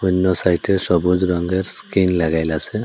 অন্য সাইটে সবুজ রঙ্গের স্কিন লাগাইলাসে।